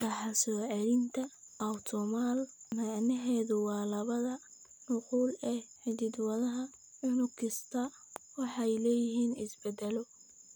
Dhaxal-soo-celinta autosomal macnaheedu waa labada nuqul ee hidda-wadaha unug kasta waxay leeyihiin isbeddello.